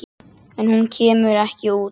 En hún kemur ekki út.